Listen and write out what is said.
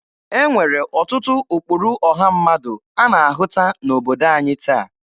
E nwere ọtụtụ ụkpụrụ ọha mmadụ a na-ahụta n'obodo anyị taa.